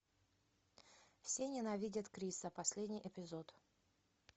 все ненавидят криса последний эпизод